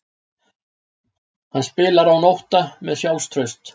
Hann spilar án ótta, með sjálfstraust.